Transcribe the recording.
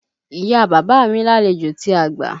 Ìya bàbá mi làlejò tí a gbà.